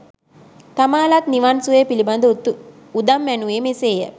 තමා ලත් නිවන් සුවය පිළිබඳ උදම් ඇණුවේ මෙසේ ය.